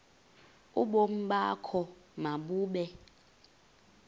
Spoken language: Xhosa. ubomi bakho mabube